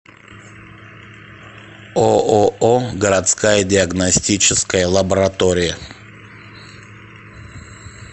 ооо городская диагностическая лаборатория